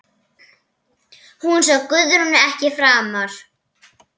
Hún sá Guðrúnu ekki framar.